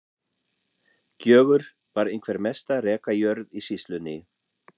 Gjögur var einhver mesta rekajörð í sýslunni.